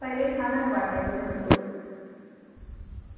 छानचं वाटायचं भरपूर